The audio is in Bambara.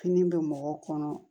Fini bɛ mɔgɔw kɔnɔ